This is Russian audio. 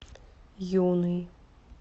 юный